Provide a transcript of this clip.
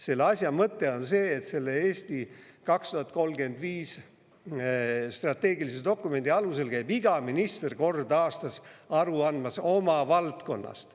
Selle asja mõte on see, et selle "Eesti 2035" strateegilise dokumendi alusel käib iga minister kord aastas aru andmas oma valdkonnast.